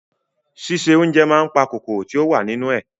Ṣíṣe oúnjẹ máa n pa kòkòrò tí o wa nínú ẹ.